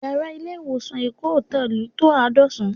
Yàrá ilé ìwòsàn Èkó Hotel tó àádọ́sán